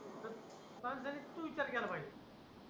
pass झाली तू विचार केला पाहिजे